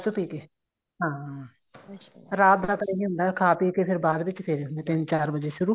ਪੀ ਕੇ ਹਾਂ ਰਾਤ ਦਾ ਪਤਾ ਕੀ ਹੁੰਦਾ ਖਾ ਪੀਕੇ ਫ਼ੇਰ ਬਾਅਦ ਵਿੱਚ ਫੇਰੇ ਹੁੰਦੇ ਤਿੰਨ ਚਾਰ ਵਜੇ ਸ਼ੁਰੂ